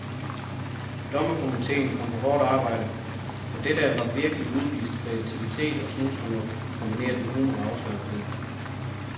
Dommerkomiteen kom på hårdt arbejde, for det der var virkelig udvist kreativitet og snusfornuft kombineret med humor og afslappethed.